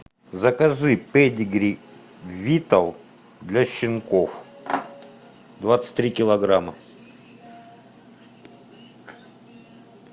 закажи педигри витал для щенков двадцать три килограмма